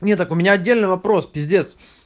не так у меня отдельный вопрос пиздец